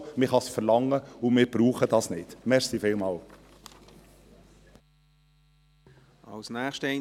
Man kann es verlangen, wir brauchen es aber nicht.